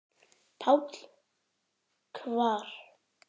PÁLL: Hvar?